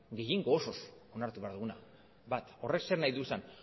gehiengo osoz onartu behar duguna bat horrek zer nahi du esan